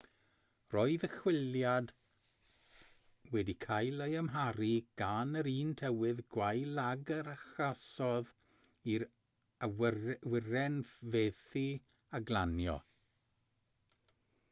roedd y chwiliad wedi cael ei amharu gan yr un tywydd gwael ag a achosodd i'r awyren fethu â glanio